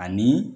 Ani